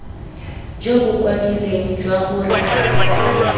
jo bo kwadilweng jwa gore